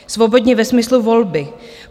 Svobodně ve smyslu volby.